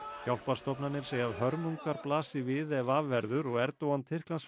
hjálparstofnanir segja að hörmungar blasi við ef af verður og Erdogan